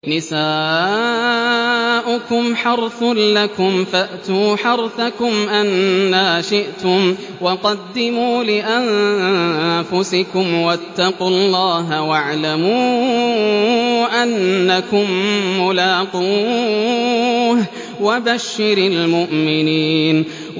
نِسَاؤُكُمْ حَرْثٌ لَّكُمْ فَأْتُوا حَرْثَكُمْ أَنَّىٰ شِئْتُمْ ۖ وَقَدِّمُوا لِأَنفُسِكُمْ ۚ وَاتَّقُوا اللَّهَ وَاعْلَمُوا أَنَّكُم مُّلَاقُوهُ ۗ وَبَشِّرِ الْمُؤْمِنِينَ